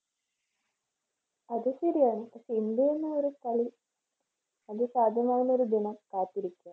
അത് ശരിയാണ് പക്ഷേ ഇന്ത്യയൊന്നും ഒരു കളി അത് സാധ്യമാകുന്ന ഒരു ദിനം കാത്തിരിക്കാം.